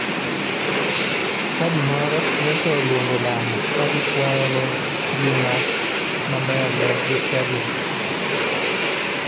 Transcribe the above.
Chadi moro nyocha oluongo lamo ka gikwayogo ngima mabe ne jochadigi.